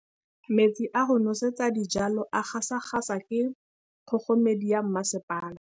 Metsi a go nosetsa dijalo a gasa gasa ke kgogomedi ya masepala.